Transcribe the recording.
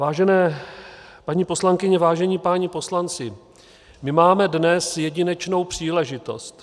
Vážené paní poslankyně, vážení páni poslanci, my máme dnes jedinečnou příležitost.